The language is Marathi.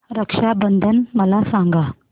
रक्षा बंधन मला सांगा